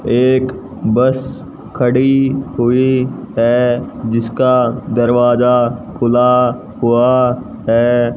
एक बस खड़ी हुई है जिसका दरवाजा खुला हुआ है।